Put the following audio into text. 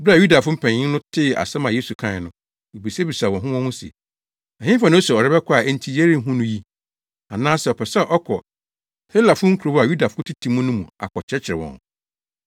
Bere a Yudafo mpanyin no tee asɛm a Yesu kae no, wobisabisaa wɔn ho wɔn ho se, “Ɛhefa na ose ɔrebɛkɔ a enti yɛrenhu no yi? Anaasɛ ɔpɛ sɛ ɔkɔ Helafo nkurow a Yudafo tete mu no mu akɔkyerɛkyerɛ wɔn?